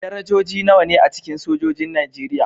Darajoji nawa ne a cikin sojojin Najeriya?